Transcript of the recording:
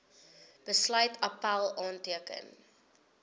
besluit appèl aanteken